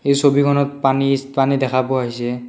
এই ছবিখনত পানীছ পানী দেখা পোৱা হৈছে।